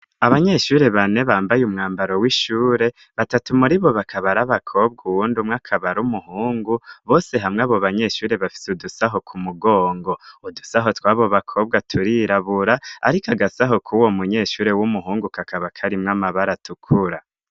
Abanyeshuri bane bambaye umwambaro w'ishure, batatu muri bo bakabara abakobwa, uwundi umwe akaba ar'umuhungu, bose hamwe abo banyeshuri bafite udusaho ku mugongo, udusaho twabo bakobwa turirabura ariko agasaho kuwo munyeshuri w'umuhungu kakaba karimwo amabara atukura.